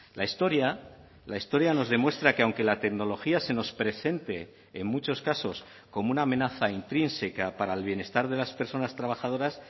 la historia la historia nos demuestra que aunque la tecnología se nos presente en muchos casos como una amenaza intrínseca para el bienestar de las personas trabajadoras